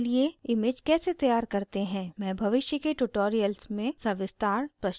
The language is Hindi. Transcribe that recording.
मैं भविष्य के tutorials में सविस्तार स्पष्टीकरण दूंगी